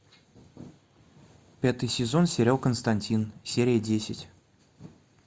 пятый сезон сериал константин серия десять